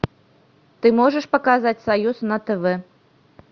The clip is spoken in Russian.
ты можешь показать союз на тв